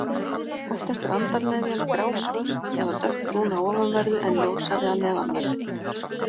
Oftast er andarnefjan grásvört eða dökkbrún að ofanverðu en ljósari að neðanverðu.